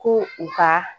Ko u ka